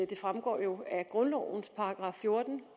det fremgår jo af grundlovens § fjorten